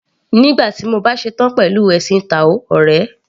Nígbà tí mo bá ṣetán pẹ̀lú ẹ̀sìn táò ọ̀rẹ́.